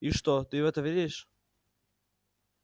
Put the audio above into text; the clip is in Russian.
и что ты в это веришь